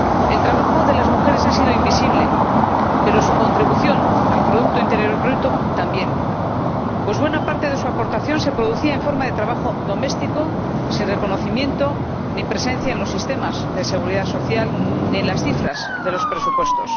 El trabajo de las mujeres ha sido invisible, y su contribución al producto interior bruto, también, pues buena parte de su aportación se ha producido en forma de trabajo doméstico, sin reconocimiento ni presencia en los sistemas de seguridad social ni en las cifras de los presupuestos.